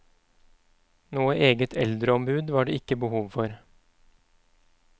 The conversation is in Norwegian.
Noe eget eldreombud var det ikke behov for.